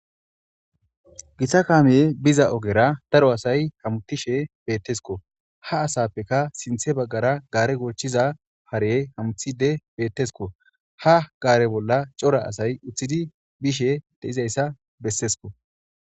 githa kaamiye biza ogera daro asay hamutishe bettesko ha asappeka sinthe baggara gaare goochiza hare hamuthide bettesko ha gaare bolla cora asay uththidi bishe de izayssa bessesko